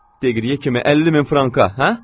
Deqriyə kimi 50 min franka, hə?